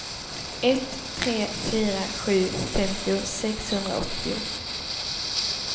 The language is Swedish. ett tre fyra sju femtio sexhundraåttio